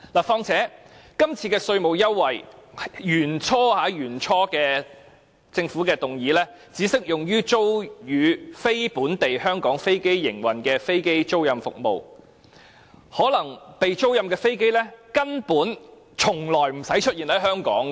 況且，根據政府原本的建議，這次的稅務優惠，只適用租予"非香港飛機營運商"的飛機租賃服務，租出的飛機根本無需出現在香港。